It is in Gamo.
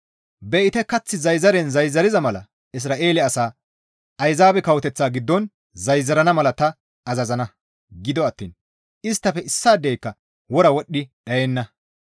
«Be7ite kath zayzaren zayzariza mala Isra7eele asaa Ayzaabe kawoteththa giddon zayzarana mala ta azazana; gido attiin isttafe issaadeyka wora wodhdhi dhayenna.